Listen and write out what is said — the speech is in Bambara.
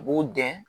U b'u dɛn